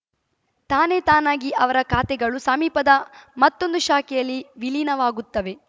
ತಾನೇತಾನಾಗಿ ಅವರ ಖಾತೆಗಳು ಸಮೀಪದ ಮತ್ತೊಂದು ಶಾಖೆಯಲ್ಲಿ ವಿಲೀನವಾಗುತ್ತವೆ